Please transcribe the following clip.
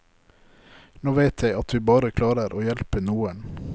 Nå vet jeg at vi bare klarer å hjelpe noen.